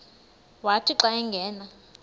wathi xa angena